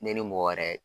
Ne ni mɔgɔ wɛrɛ